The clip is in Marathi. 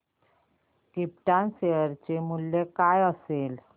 क्रिप्टॉन शेअर चे मूल्य काय असेल